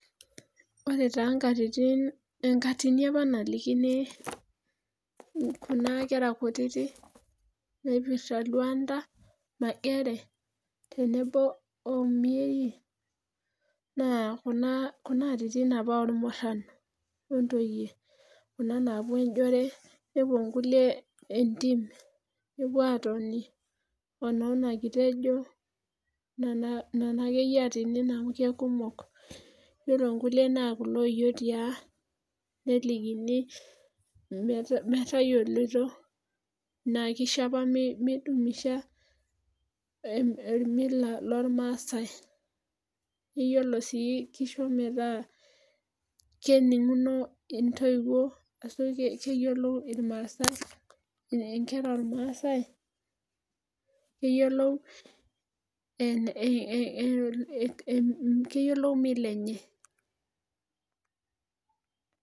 Ore taa nkatitin, enkatini apa nalikini Kuna kera kutitik naipirta Luanda magere ,tenebo omieri. naa Kuna atitin apa oolmuran o notice. kuna naapuo ejore. nepuo nkulie entim. nepup aatoni onoo nekitejo. nena akeyie aatinin amu mekumok. iyiolo nkulie naa kulo oyietiaa. nelikini metayioloito. Naa kishaa apa midumisha ormila loormaasae. iyiolo sii kisho metaa, keninguno intoiwuo .keyiolo irmaasae inkera oormaasae. keyiolou Mila enye.